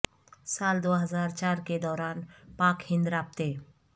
سال دو ہزار چار کے دوران پاک ہند رابطے